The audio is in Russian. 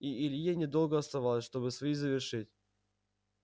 и илье недолго оставалось чтобы свои завершить